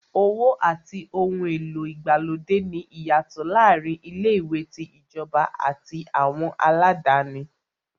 Owó àti ohun èlò ìgbàlódé ní ìyàtọ̀ láàárín ilé-ìwé tí ìjọba àti àwọn aládáni.